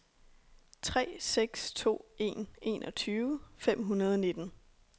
tre seks to en enogtyve fem hundrede og nitten